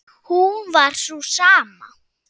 hún var sú sama.